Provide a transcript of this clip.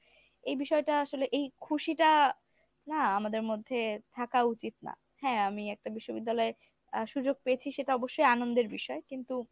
এই বিষয়টা আসলে এই খুশিটা না আমাদের মধ্যে থাকা উচিত না হ্যাঁ আমি একটা বিশ্ববিদ্যালয়ে আ সুযোগ পেয়েছি সেটা অবশ্যই আনন্দের বিষয় কিন্তু,